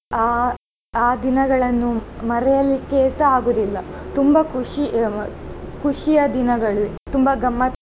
ಅಹ್ ಆ ದಿನಗಳನ್ನು ಮರೆಯಲಿಕ್ಕೆಸ ಆಗುವುದಿಲ್ಲ ತುಂಬಾ ಖುಷಿ ಖುಷಿಯ ದಿನಗಳು ತುಂಬಾ ಗಮ್ಮತ್.